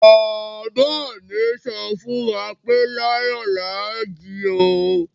Baba mi sọ fún wa pé láyò láà jí o!